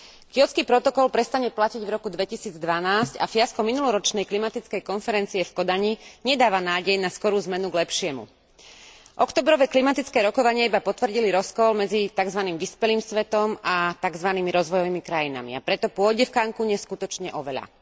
Kjótsky protokol prestane platiť v roku 2012 a fiasko minuloročnej klimatickej konferencie v Kodani nedáva nádej na skorú zmenu k lepšiemu. Októbrové klimatické rokovania iba potvrdili rozkol medzi takzvaným vyspelým svetom a takzvanými rozvojovými krajinami, a preto pôjde v Cancúne skutočne o veľa.